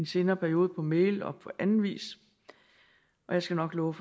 senere periode på mail og på anden vis jeg skal nok love